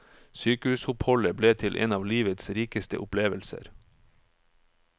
Sykehusoppholdet ble til en av livets rikeste opplevelser.